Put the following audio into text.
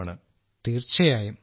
രാജേഷ് പ്രജാപതി തീർച്ചയായും